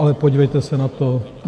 Ale podívejte se na to.